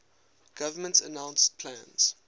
government announced plans